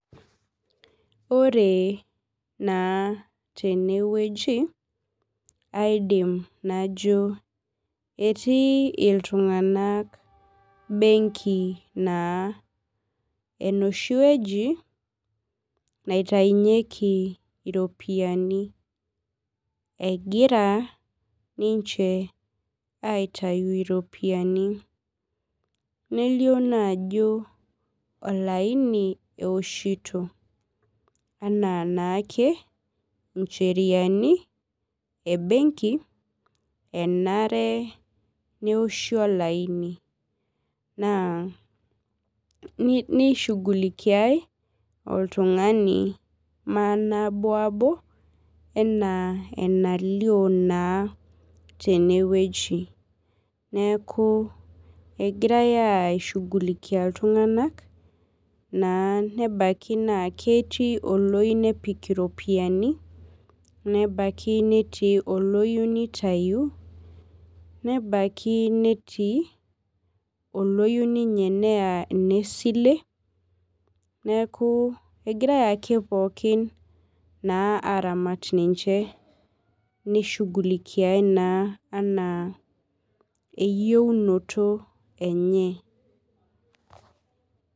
Ore na tenewueji aidim najo etii iltunganak benki naa enoshiwueji nitaunyeki iropiyiani egira ninche aitayu iropiyiani nelio ajo olaini enoshito ana ncheriani embenki enare neoshi olaini nishugulikiai oltungani manabo ana enelio tenewueji neaku egirai aishugulikia ltunganak nebaki netii oloyieu nepik iropiyiani netii oloyieu nitayu nebaki oloyieu neya enesile neaku egirai ake pookin aramat ninche nishugulikiai ana eyieunoto enye .